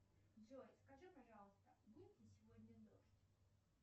джой скажи пожалуйста будет ли сегодня дождь